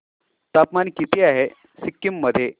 तापमान किती आहे सिक्किम मध्ये